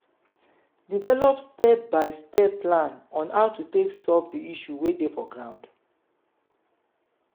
develop step by step plan on how to take solve di issue wey dey for ground